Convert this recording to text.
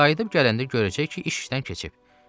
Qayıdıb gələndə görəcək ki, iş işdən keçib.